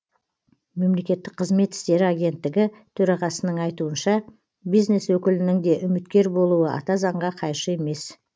мемлекеттік қызмет істері агенттігі төрағасының айтуынша бизнес өкілінің де үміткер болуы ата заңға қайшы емес